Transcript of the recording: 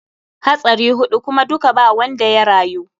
Hatsari huɗu kuma duka ba wanda ya rayu.